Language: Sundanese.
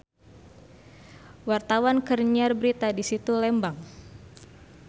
Wartawan keur nyiar berita di Situ Lembang